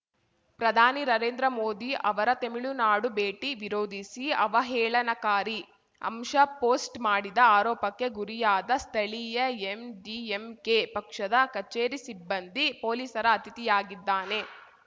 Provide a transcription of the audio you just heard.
ಪ್ರಧಾನಿ ನರೇಂದ್ರ ಮೋದಿ ಅವರ ತೆಮಿಳುನಾಡು ಭೇಟಿ ವಿರೋಧಿಸಿ ಅವಹೇಳನಕಾರಿ ಅಂಶ ಪೋಸ್ಟ್‌ ಮಾಡಿದ ಆರೋಪಕ್ಕೆ ಗುರಿಯಾದ ಸ್ಥಳೀಯ ಎಂಡಿಎಂಕೆ ಪಕ್ಷದ ಕಚೇರಿ ಸಿಬ್ಬಂದಿ ಪೊಲೀಸರ ಅತಿಥಿಯಾಗಿದ್ದಾನೆ